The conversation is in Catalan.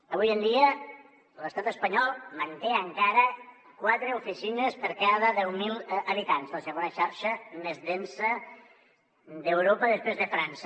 avui en dia l’estat espanyol manté encara quatre oficines per cada deu mil habitants la segona xarxa més densa d’europa després de frança